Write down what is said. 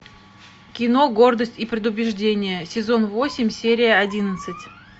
кино гордость и предубеждение сезон восемь серия одиннадцать